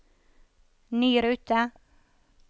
ny rute